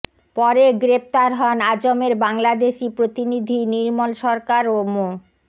পরে গ্রেপ্তার হন আজমের বাংলাদেশি প্রতিনিধি নির্মল সরকার ও মো